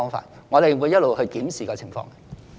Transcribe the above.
因此，我們會一直檢視這情況。